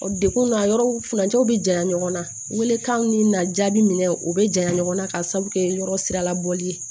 Degun na yɔrɔw furancɛw be janya ɲɔgɔn na welekanw ni na jaabi minɛ o bɛ janya ɲɔgɔn na ka sabu kɛ yɔrɔ sira la bɔli ye